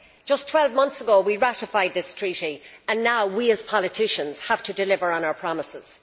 Just 12 months ago, we ratified this treaty and now we, as politicians, have to deliver on our promises.